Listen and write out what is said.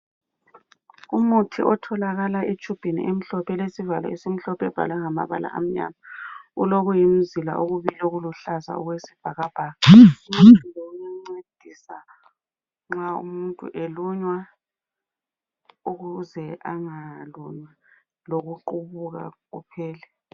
Umuthi otholakala etshubhini emhlophe elesivalo esimhlophe ebhalwe ngamabala amnyama ulokuyimzila okubili okuluhlaza okwesibhakabhaka. Umuthi lo uyancedisa nxa umuntu elunywa ukuze angalunywa lokuqubuka kuphela.